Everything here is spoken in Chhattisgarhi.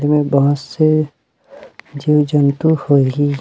जे मे बहुत से जिव जंतु होही--